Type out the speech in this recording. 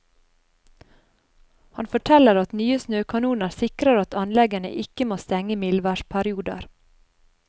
Han forteller at nye snøkanoner sikrer at anleggene ikke må stenge i mildværsperioder.